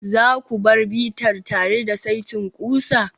za ku bar bitar tare da saitin ƙusa?